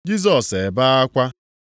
Jisọs ebee akwa.